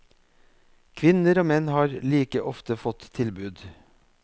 Kvinner og menn har like ofte fått tilbud.